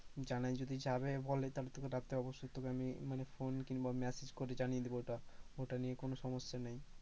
জানাই যদি যাবে বলে তাহলে তখন তোকে রাত্রে অবশ্যই তোকে আমি মানে phone কিংবা message করে জানিয়ে দেব ওটা, ওটা নিয়ে কোন সমস্যা নেই।